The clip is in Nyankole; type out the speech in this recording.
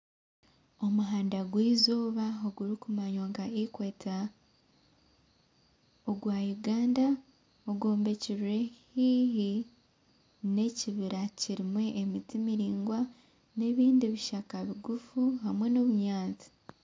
Omuhanda gw'eizooba ogurikumanywa nka equator ogwa Uganda ogwombekire haihi n'ekibira kirimu emiti miraingwa nebindi bishaka bigufu hamwe n'obunyatsi